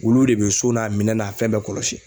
Wuluw de bɛ so n'a minɛn n'a fɛn bɛɛ kɔlɔsi.